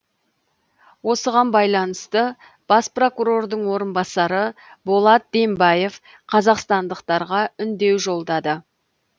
осыған байланысты бас прокурордың орынбасары болат дембаев қазақстандықтарға үндеу жолдады